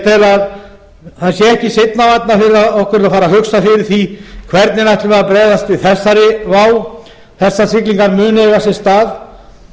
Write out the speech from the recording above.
tel að ekki sé seinna vænna fyrir okkur að fara að hugsa fyrir því hvernig ætlum við að bregðast við þannig vá þessar siglingar munu eiga sér stað